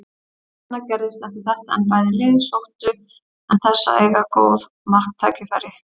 Lítið annað gerðist eftir þetta en bæði lið sóttu en þess að eiga góð marktækifæri.